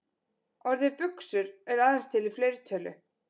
Orðið buxur er aðeins til í fleirtölu.